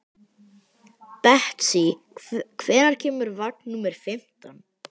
Betsý, hvenær kemur vagn númer fimmtán?